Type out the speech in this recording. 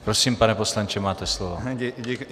Prosím, pane poslanče, máte slovo.